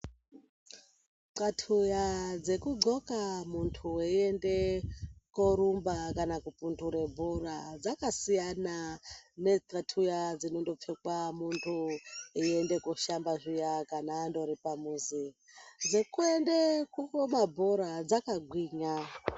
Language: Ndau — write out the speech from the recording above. Kxatuya dzekugqoka munthu weiende korumba kana kupundura bhora dzakasiyana nekxatuya dzinondopfekwa munthu eiende koshamba zviya kana ari pamuzi.